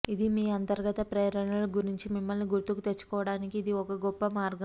ఇది మీ అంతర్గత ప్రేరణల గురించి మిమ్మల్ని గుర్తుకు తెచ్చుకోవడానికి ఇది ఒక గొప్ప మార్గం